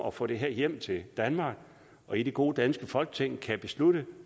at få det her hjem til danmark og i det gode danske folketing kan beslutte